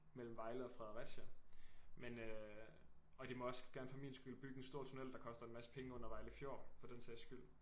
Mellem Vejle og Fredericia men øh og de må også gerne for min skyld bygge en stor tunnel der koster en masse penge under Vejle Fjord for den sags skyld